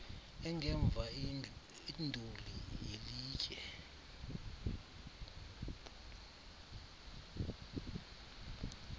engemva induli yelitye